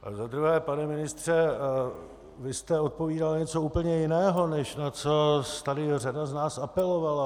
A za druhé, pane ministře, vy jste odpovídal na něco úplně jiného, než na co tady řada z nás apelovala.